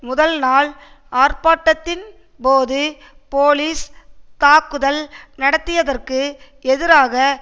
முதல் நாள் ஆர்ப்பாட்டத்தின் போது போலிஸ் தாக்குதல் நடத்தியதற்கு எதிராக